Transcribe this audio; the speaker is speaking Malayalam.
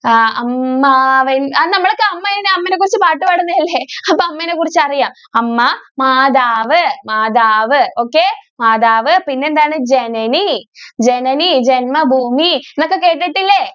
ആ അമ്മാവേൻ അത് നമ്മൾ അമ്മ അമ്മേനെ കുറിച്ച് പാട്ട് ഒക്കെ പാടുന്നത് അല്ലെ അപ്പൊ അമ്മേനെ കുറിച്ച് അറിയാം അമ്മ മാതാവ് മാതാവ് okay മാതാവ് പിന്നെ എന്താണ് ജനനി ജനനി ജന്മ ഭൂമി എന്നൊക്കെ കേട്ടിട്ടില്ലേ?